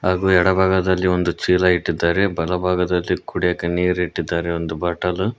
ಹಾಗೂ ಎಡ ಭಾಗದಲ್ಲಿ ಒಂದು ಚೀಲ ಇಟ್ಟಿದ್ದಾರೆ ಬಲಭಾಗದಲ್ಲಿ ಕುಡಿಯಕ್ಕೆ ನೀರಿಟ್ಟಿದ್ದಾರೆ ಒಂದು ಬಾಟಲು.